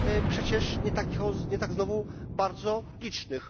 przecież nie tak znowu bardzo licznych.